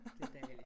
Det dejligt